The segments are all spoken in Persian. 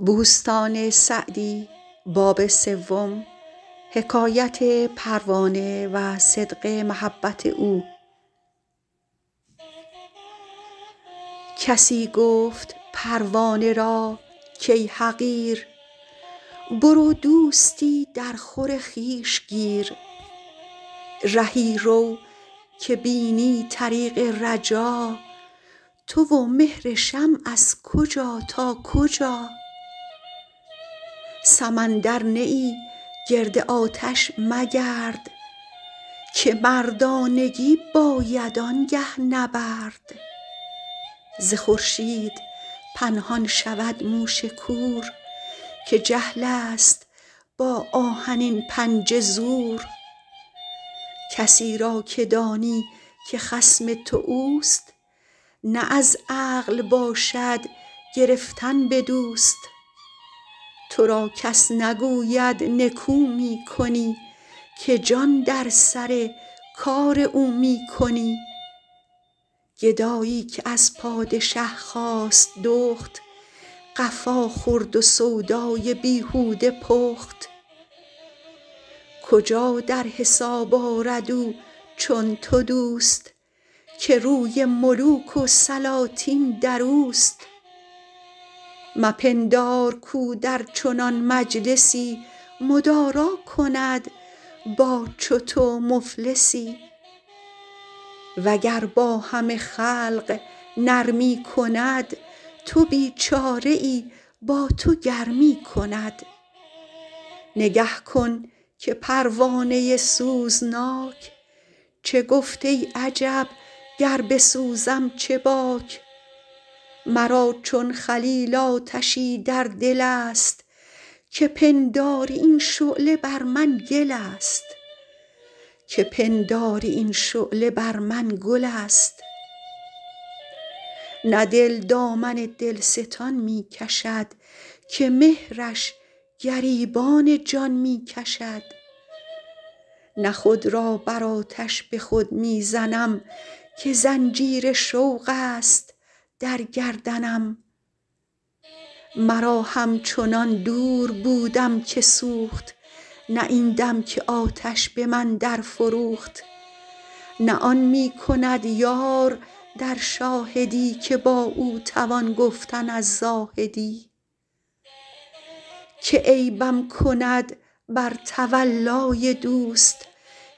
کسی گفت پروانه را کای حقیر برو دوستی در خور خویش گیر رهی رو که بینی طریق رجا تو و مهر شمع از کجا تا کجا سمندر نه ای گرد آتش مگرد که مردانگی باید آنگه نبرد ز خورشید پنهان شود موش کور که جهل است با آهنین پنجه زور کسی را که دانی که خصم تو اوست نه از عقل باشد گرفتن به دوست تو را کس نگوید نکو می کنی که جان در سر کار او می کنی گدایی که از پادشه خواست دخت قفا خورد و سودای بیهوده پخت کجا در حساب آرد او چون تو دوست که روی ملوک و سلاطین در اوست مپندار کاو در چنان مجلسی مدارا کند با چو تو مفلسی وگر با همه خلق نرمی کند تو بیچاره ای با تو گرمی کند نگه کن که پروانه سوزناک چه گفت ای عجب گر بسوزم چه باک مرا چون خلیل آتشی در دل است که پنداری این شعله بر من گل است نه دل دامن دلستان می کشد که مهرش گریبان جان می کشد نه خود را بر آتش به خود می زنم که زنجیر شوق است در گردنم مرا همچنان دور بودم که سوخت نه این دم که آتش به من در فروخت نه آن می کند یار در شاهدی که با او توان گفتن از زاهدی که عیبم کند بر تولای دوست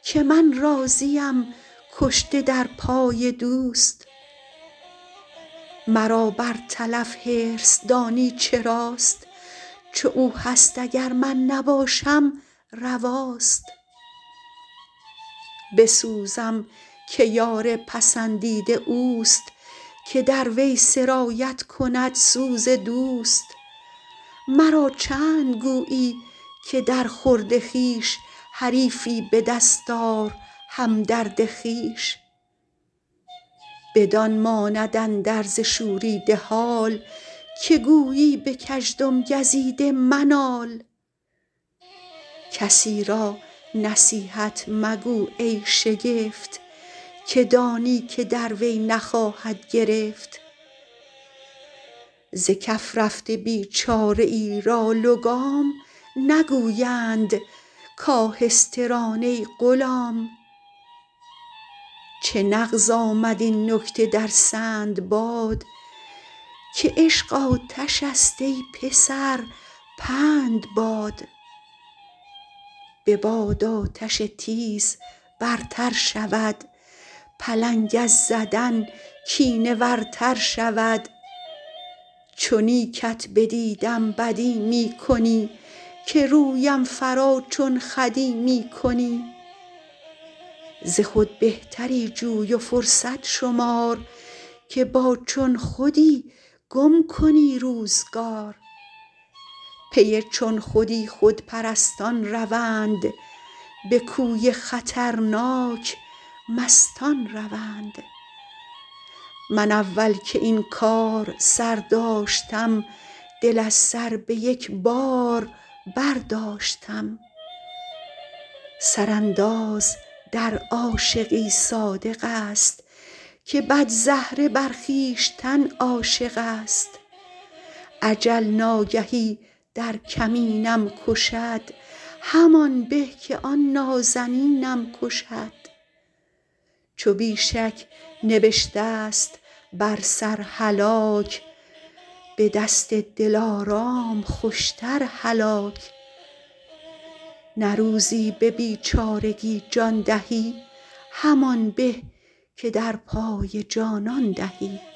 که من راضیم کشته در پای دوست مرا بر تلف حرص دانی چراست چو او هست اگر من نباشم رواست بسوزم که یار پسندیده اوست که در وی سرایت کند سوز دوست مرا چند گویی که در خورد خویش حریفی به دست آر همدرد خویش بدان ماند اندرز شوریده حال که گویی به کژدم گزیده منال کسی را نصیحت مگو ای شگفت که دانی که در وی نخواهد گرفت ز کف رفته بیچاره ای را لگام نگویند کآهسته ران ای غلام چه نغز آمد این نکته در سندباد که عشق آتش است ای پسر پند باد به باد آتش تیز برتر شود پلنگ از زدن کینه ور تر شود چو نیکت بدیدم بدی می کنی که رویم فرا چون خودی می کنی ز خود بهتری جوی و فرصت شمار که با چون خودی گم کنی روزگار پی چون خودی خودپرستان روند به کوی خطرناک مستان روند من اول که این کار سر داشتم دل از سر به یک بار برداشتم سر انداز در عاشقی صادق است که بدزهره بر خویشتن عاشق است اجل ناگهی در کمینم کشد همان به که آن نازنینم کشد چو بی شک نبشته ست بر سر هلاک به دست دلارام خوشتر هلاک نه روزی به بیچارگی جان دهی همان به که در پای جانان دهی